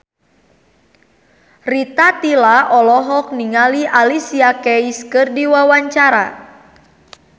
Rita Tila olohok ningali Alicia Keys keur diwawancara